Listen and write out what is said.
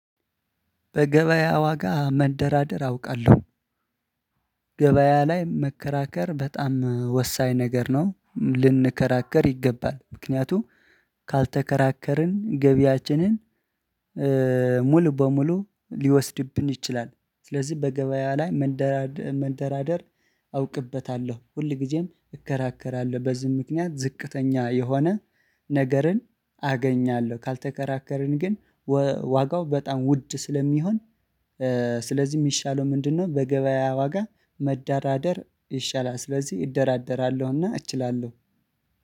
በገበያ ዋጋ መደራደር አውቃለሁ። ገበያ ላይ መከራከር በጣም ወሳኝ ነገር ነው ልንከራከር ይገባል ምክንያቱም ካልተከራከርን ገቢያችንን ሙሉ በሙሉ ሊወስድብን ይችላል። ስለዚህ በገበያ ላይ መንደራደር አውቅበታለሁ ሁል ጊዜም እከራከራለሁ። በዚህ ምክንያት ዝቅተኛ የሆነ ነገርን አገኛለሁ። ካልተከራከርን ግን ዋጋው በጣም ውድ ስለሚሆን። ስለዚህ የሚሻለው ምንድነው? በገበያ ዋጋ መዳራደር ይሻላል ስለዚህ እደራደራለሁና እችላለሁ።